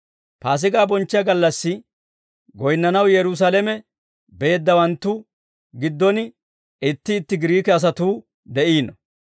Paasigaa bonchchiyaa gallassi goyinnanaw Yerusaalame beeddawanttu giddon itti itti Giriike asatuu de'iino.